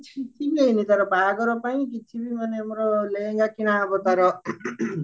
କିଛି ନେଇନୁ ତାର ବାହାଘର ପାଇଁ କିଛିବି ମାନେ ଆମର ଲେହେଙ୍ଗା କିଣା ହବ ତାର